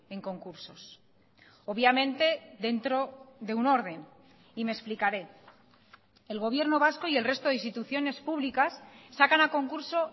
en concursos obviamente dentro de un orden y me explicaré el gobierno vasco y el resto de instituciones públicas sacan a concurso